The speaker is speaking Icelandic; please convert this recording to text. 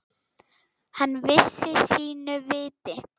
Hann vissi sínu viti.